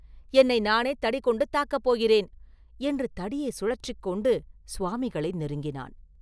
என்னை நானே தடி கொண்டு தாக்கப் போகிறேன்!” என்று தடியை சுழற்றிக் கொண்டு சுவாமிகளை நெருங்கினான்.